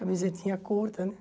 Camisetinha curta, né?